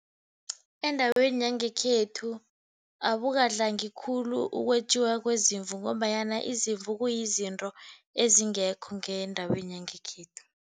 Endaweni yangekhethu, abukadlangi khulu ukwetjiwa kwezimvu, ngombanyana izimvu kuyizinto ezingekho ngendaweni yangekhethu.